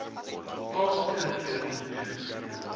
plaaslike regering jeugstrukture